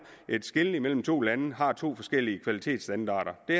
et skel imellem to lande har to forskellige kvalitetsstandarder det